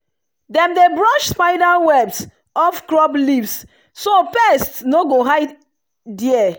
dem dey brush spider webs off crop leaves so pests no go hide there.